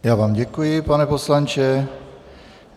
Já vám děkuji, pane poslanče.